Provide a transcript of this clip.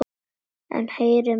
En heyrið mig ungu menn.